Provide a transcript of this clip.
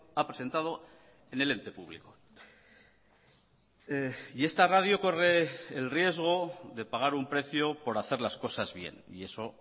ha presentado en el ente público y esta radio corre el riesgo de pagar un precio por hacer las cosas bien y eso